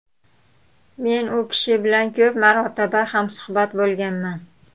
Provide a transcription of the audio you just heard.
Men u kishi bilan ko‘p marotaba hamsuhbat bo‘lganman.